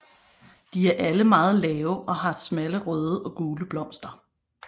De er alle meget lave og har smalle røde og gule blomster